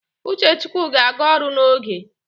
Uchechukwu ga-aga ọrụ n'oge